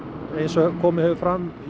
eins og komið hefur fram í